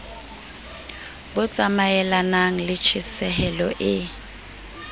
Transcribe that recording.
bo tsamaelanang le tjhesehelo e